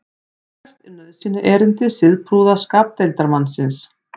hvert er nauðsynjaerindi siðprúða skapdeildarmannsins